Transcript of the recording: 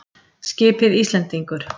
Skipið Íslendingur.